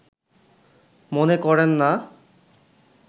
মনে করেন না